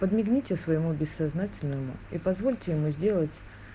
подмигните своему бессознательному и позвольте ему сделать